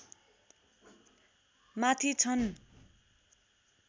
माथि छन्